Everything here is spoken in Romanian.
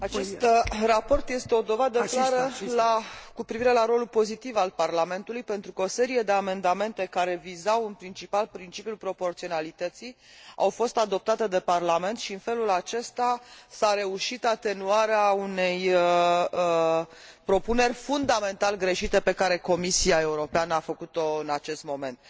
Acest raport este o dovadă cu privire la rolul pozitiv al Parlamentului, pentru că o serie de amendamente, care vizau în principal principiul proporționalității, au fost adoptate de Parlament și, în felul acesta, s a reușit atenuarea unei propuneri fundamental greșite pe care Comisia Europeană a făcut o în acest moment.